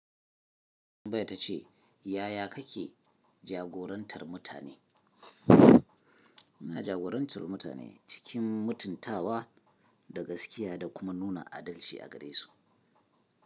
Wannan ta ce yaya kake jagorantar mutane? Muna jagorantar mutane cikin mutuntawa da gaskiya da kuma nuna adalci a gare su.